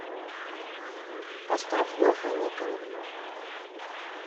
поставь леха никонов